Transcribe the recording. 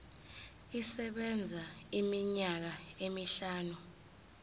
isebenza iminyaka emihlanu